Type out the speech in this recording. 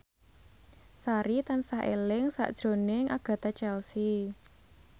Sari tansah eling sakjroning Agatha Chelsea